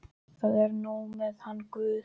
Það er nú þetta með hann guð.